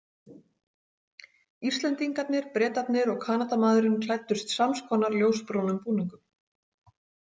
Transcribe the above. Íslendingarnir, Bretarnir og Kanadamaðurinn klæddust sams konar ljósbrúnum búningum.